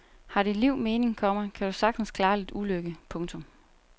Har dit liv mening, komma kan du sagtens klare lidt ulykke. punktum